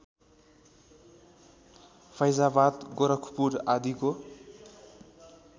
फैजाबाद गोरखपुर आदिको